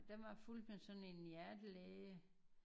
Der var fulgte man sådan en hjertelæge